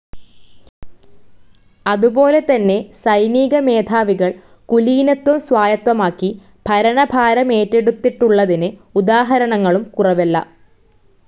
അതുപോലെതന്നെ സൈനികമേധാവികൾ കുലീനത്വം സ്വായത്തമാക്കി ഭരണഭാരമേറ്റെടുത്തിട്ടുള്ളതിന് ഉദാഹരണങ്ങളും കുറവല്ല.